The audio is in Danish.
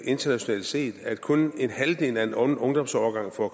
internationalt set er at kun halvdelen af en ungdomsårgang får